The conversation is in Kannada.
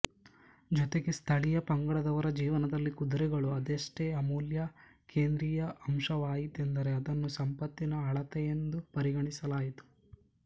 ಜೊತೆಗೆ ಸ್ಥಳೀಯ ಪಂಗಡದವರ ಜೀವನದಲ್ಲಿ ಕುದುರೆಗಳು ಅದೆಷ್ಟು ಅಮೂಲ್ಯ ಕೇಂದ್ರೀಯ ಅಂಶವಾಯಿತೆಂದರೆ ಅವನ್ನು ಸಂಪತ್ತಿನ ಅಳತೆಯೆಂದು ಪರಿಗಣಿಸಲಾಯಿತು